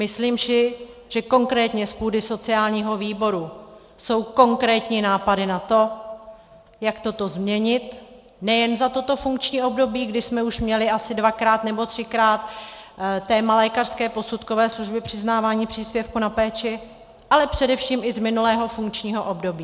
Myslím si, že konkrétně z půdy sociálního výboru jsou konkrétní nápady na to, jak toto změnit nejen za toto funkční období, kdy jsme už měli asi dvakrát nebo třikrát téma lékařské posudkové služby, přiznávání příspěvku na péči, ale především i z minulého funkčního období.